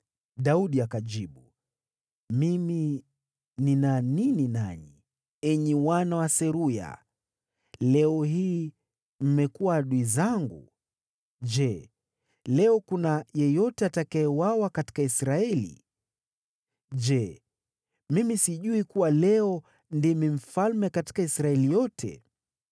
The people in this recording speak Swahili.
Daudi akajibu, “Mimi nina nini nanyi, enyi wana wa Seruya? Leo hii mmekuwa adui zangu! Je, leo kuna yeyote atakayeuawa katika Israeli? Je, mimi sijui kuwa leo ndimi mfalme katika Israeli yote?”